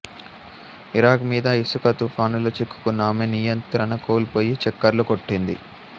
Iraq మీద ఇసుక తుఫానులో చిక్కుకున్న ఆమె నియంత్రణ కోల్పోయి చక్కర్లు కొట్టింది